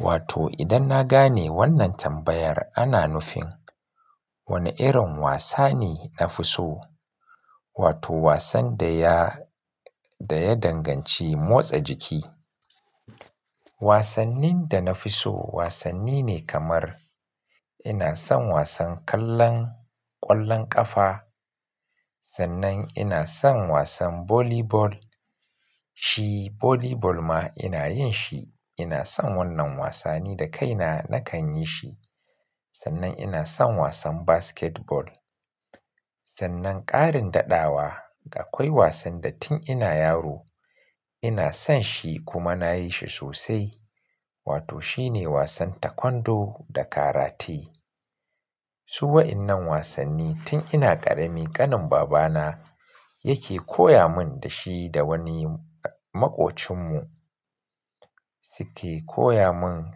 Wato idan na gane wannan tambayar ana nufin wone irin wasa ne na fi so? Wato wasan da ya, da ya danganci motsa jiki. Wasannin da na fi so wasanni ne kamar ina son wasan kallon ƙwallon ƙafa. Sannan ina son wasan volley ball. Shi volley ball ma ina yin shi. Ina son wannan wasanni da kaina na kan yi shi. Sannan ina son wasan basketball. Sannan ƙarin daɗawa akoi wasan da tun ina yaro ina son shi kuma na yi shi sosai. Wato shi ne wasan takwondo da karati. Su waɗannan wasanni tun ina ƙarami ƙanin babana yake koya mun da shi da woni maƙocinmu suke koya mun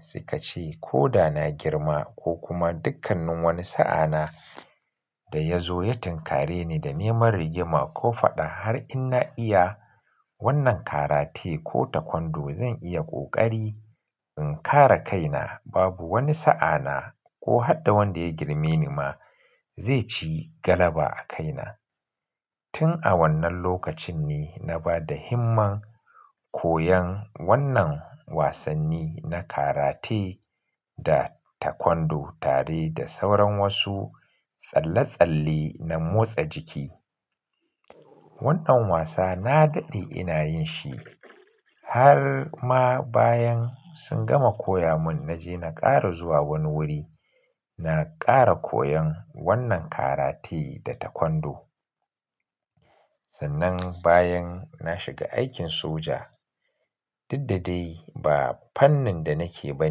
suka ce ko da na girma ko kuma dukkanin woni sa'a na da ya zo ya tin kare ni da neman rigima ko faɗa har in na iya wannan karate ko taekwondo zan iya ƙoƙari in kare kaina. Babu woni sa'ana ko hadda wanda ya girme ni ma zai ci galaba a kaina. Tun a wannan lokacin ne na bada himman koyan wannan wasanni na karate da takwondo tare da sauran wasu tsalle-tsalle na motsa jiki. Wannan wasa na daɗe ina yin shi har ma bayan sun gama koya mun na je na ƙara zuwa woni wuri. Na ƙara koyan wannan karate da taekwondo. Sannan bayan na shiga aikin soja. Didda dai ba fannin da nake ba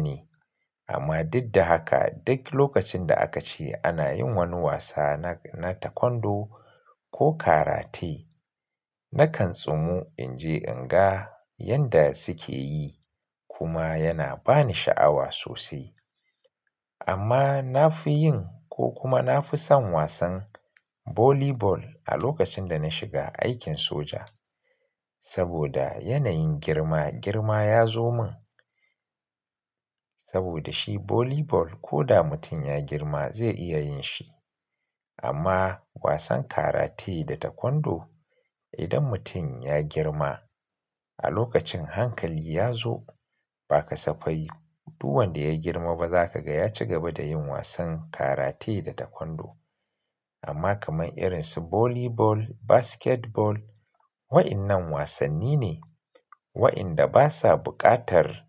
ne amma diddahaka duk lokacin da aka ce ana yin woni wasa na, na takwondo ko karate nakan tsumu in je in ga yanda suke yi kuma yana ba ni sha'awa sosai. Amma na fi yin ko kuma na fi son wasan volley ball a lokacin da na shiga aikin soja. Saboda yanayin girma girma ya zo mun. Saboda shi volley ball ko da mutum ya girma zai iya yin shi. Amma wasan karate da taekwondo idon mutum ya girma a lokacin hankali ya zo ba ka safai. Duk wanda ya girma ba za ka ga ya ci gaba da yin wasan karate da takwondo. Amma kaman irin su volley ball, basketball wa'yannan wasanni ne wa'yanda basa buƙatar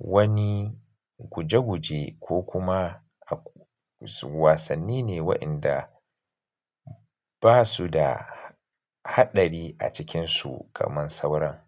wani guje-guje ko kuma wasanni ne wa'yanda ba su da haɗari a cikinsu kaman sauran.